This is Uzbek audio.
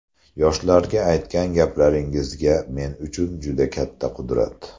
Yoshlarga aytgan gaplaringizga men uchun juda katta qudrat.